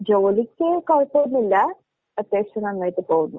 ജോലിക്ക് കൊഴപ്പോന്നുവില്ല. അത്യാവശ്യം നന്നായിട്ട് പോകുന്നു.